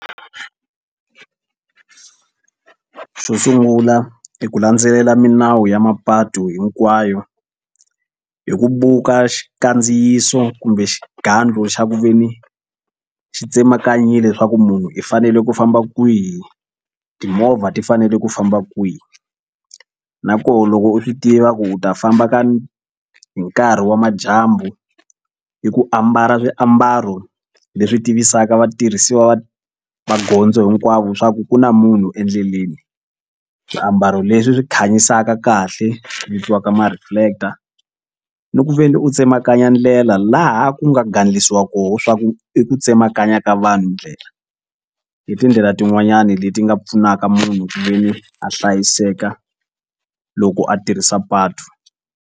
Xo sungula i ku landzelela milawu ya mapatu hinkwayo hi ku buka xikandziyiso kumbe xigandlu xa ku ve ni xi tsemakanyile swa ku munhu i fanele ku famba kwihi timovha ti fanele ku famba kwihi na koho loko u swi tiva ku u ta famba ka hi nkarhi wa madyambu hi ku ambala swiambalo leswi tivisaka vatirhisiwa va magondzo hinkwavo swa ku ku na munhu endleleni. Swiambalo leswi swi khanyisaka kahle swi vitiwaka ma-reflector ni ku ve ni u tsemakanya ndlela laha ku nga gandlisiwa koho swa ku i ku tsemakanya ka vanhu ndlela i tindlela tin'wanyani leti nga pfunaka munhu ku ve ni a hlayiseka loko a tirhisa patu.